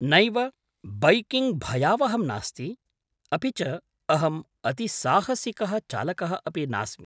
नैव, बैकिङ्ग् भयावहं नास्ति। अपि च अहम् अतिसाहसिकः चालकः अपि नास्मि।